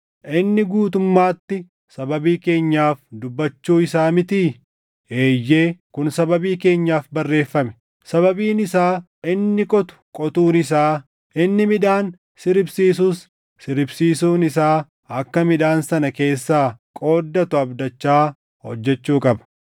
Inni guutummaatti sababii keenyaaf dubbachuu isaa mitii? Eeyyee, kun sababii keenyaaf barreeffame; sababiin isaa inni qotu qotuun isaa, inni midhaan siribsiisus siribsiisuun isaa akka midhaan sana keessaa qooddatu abdachaa hojjechuu qaba.